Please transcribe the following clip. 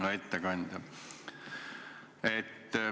Hea ettekandja!